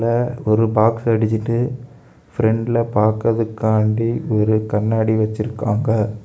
அ ஒரு பாக்ஸ் அடிச்சிட்டு பிரண்ட்ல பாக்குறதுக்காண்டி ஒரு கண்ணாடி வச்சிருக்காங்க.